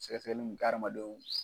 Sɛgɛsɛgɛli min bɛ kɛ adamadenw.